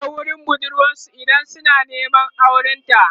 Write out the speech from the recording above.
maza kan je Hira wurin budurwa idan suna Neman auren ta